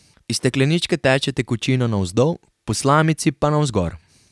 Iz stekleničke teče tekočina navzdol, po slamici pa navzgor.